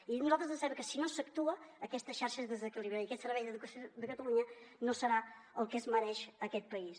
i a nosaltres ens sembla que si no s’actua aquesta xarxa es desequilibrarà i aquest servei d’educació de catalunya no serà el que es mereix aquest país